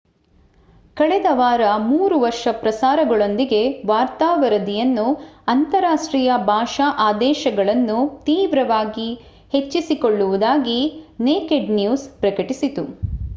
ಕಳೆದ ವಾರ ಮೂರು ಹೊಸ ಪ್ರಸಾರಗಳೊಂದಿಗೆ ವಾರ್ತಾ ವರದಿಯನ್ನು ಅಂತರಾಷ್ಟೀಯ ಭಾಷಾ ಆದೇಶಗಳನ್ನು ತೀವ್ರವಾಗಿ ಹೆಚ್ಚಿಸಿಕೊಳ್ಳುವುದಾಗಿ ನೇಕೆಡ್ ನ್ಯೂಸ್ ಪ್ರಕಟಿಸಿತು